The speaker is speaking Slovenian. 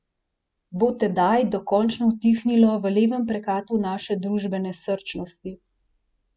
Bo tedaj dokončno utihnilo v levem prekatu naše družbene srčnosti?